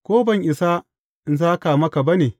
Ko ban isa in sāka maka ba ne?